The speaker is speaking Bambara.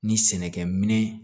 Ni sɛnɛkɛminɛn